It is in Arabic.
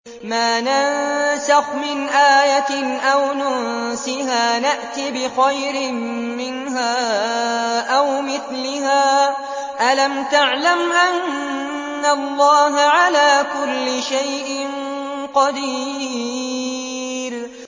۞ مَا نَنسَخْ مِنْ آيَةٍ أَوْ نُنسِهَا نَأْتِ بِخَيْرٍ مِّنْهَا أَوْ مِثْلِهَا ۗ أَلَمْ تَعْلَمْ أَنَّ اللَّهَ عَلَىٰ كُلِّ شَيْءٍ قَدِيرٌ